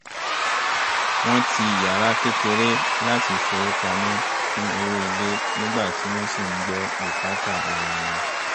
wọ́n ti yàrá kékeré láti fowópamọ́ fún owó ilé nígbà tí wọ́n sì ń gbọ́ bùkátà ara wọn